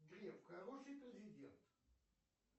греф хороший президент